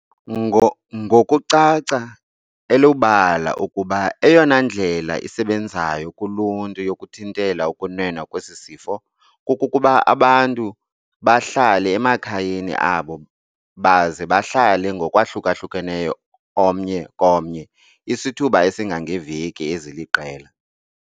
Ngokucaca elubala ukuba eyona ndlela isebenzayo kuluntu yokuthintela ukunwenwa kwesi sifo, kukuba abantu bahlale emakhayeni abo baze bahlale ngokwahlukeneyo omnye komnye isithuba esingangeeveki eziliqela.